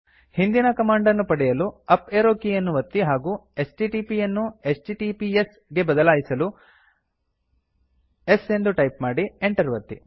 ಹಿಂದಿನ ಕಮಾಂಡ್ ಅನ್ನು ಪಡೆಯಲು ಅಪ್ ಏರೋ ಕೀಯನ್ನು ಒತ್ತಿ ಹಾಗೂ ಎಚ್ಟಿಟಿಪಿ ಯನ್ನು ಎಚ್ಟಿಟಿಪಿಎಸ್ ಗೆ ಬದಲಾಯಿಸಲು s ಎಂದು ಟೈಪ್ ಮಾಡಿ Enter ಒತ್ತಿ